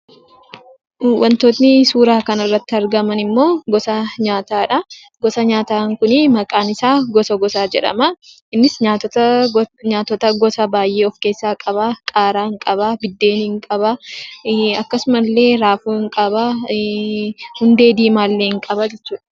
Wantoonni suuraa kanarratti argaman immoo gosa nyaataadha. Gosa nyaataan kun maqaan isaa gosa gosaa jedhama. Innis nyaatota gosa baay'ee of keessaa qaba. Qaaraa qaba, buddeen qaba akkasumallee raafuu ni qaba, hundee diimaallee hin qaba jechuudha.